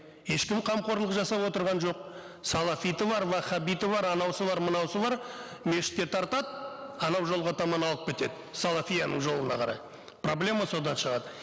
ешкім қамқорлық жасап отырған жоқ салафиті бар ваххабиті бар бар бар мешітке тартады анау жолға таман алып кетеді салафияның жолына қарай проблема содан шығады